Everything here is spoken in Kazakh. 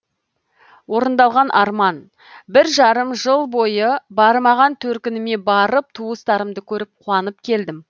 орындалған арман бір жарым жыл бойы бармаған төркініме барып туыстарымды көріп қуанып келдім